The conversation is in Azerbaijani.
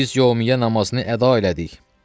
Biz yömmiyə namazını əda elədik.